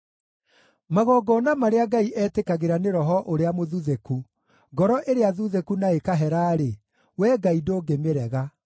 Magongona marĩa Ngai etĩkagĩra nĩ roho ũrĩa mũthuthĩku; ngoro ĩrĩa thuthĩku na ĩkahera-rĩ, Wee Ngai ndũngĩmĩrega.